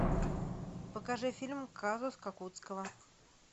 покажи фильм казус кукоцкого